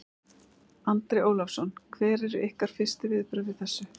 Andri Ólafsson: Hver eru ykkar fyrstu viðbrögð við þessu?